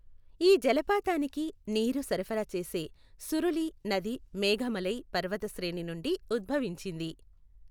ఈ జలపాతానికి నీరు సరఫరా చేసే సురులి నది మేఘమలై పర్వత శ్రేణి నుండి ఉద్భవించింది.